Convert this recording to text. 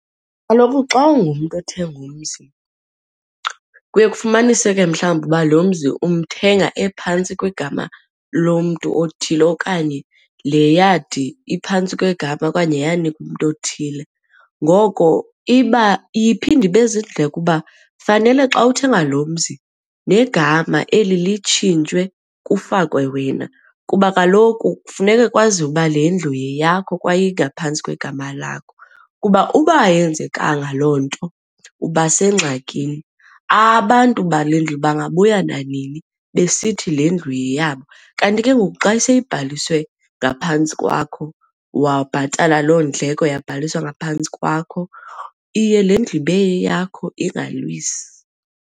Kaloku xa ungumntu othenga umzi kuye kufumanise ke mhlawumbi uba lo mzi umthengi ephantsi kwegama lomntu othile okanye le yadi iphantsi kwegama okanye yanikwa umntu othile. Ngoko iba iye iphinde ibe ziindleko uba fanele xa uthenga lo mzi negama eli litshintshwe kufakwe wena kuba kaloku kufuneke kwaziwe uba le ndlu yeyakho kwaye ingaphantsi kwegama lakho. Kuba uba ayenzekanga loo nto uba sengxakini, abantu bale ndlu bangabuya nanini besithi le ndlu yeyabo. Kanti ke ngoku xa seyibaliwe ngaphantsi kwakho wabhatala lo ndleko yabhaliswa ngaphantsi kwakho, iye le ndlu ibe yeyakho iingalwisi.